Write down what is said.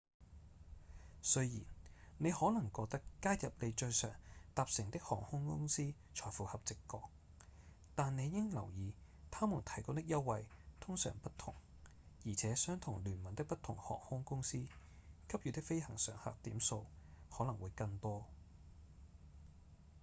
雖然你可能覺得加入你最常搭乘的航空公司才符合直覺但你應留意他們提供的優惠通常不同而且相同聯盟的不同航空公司給予的飛行常客點數可能會更多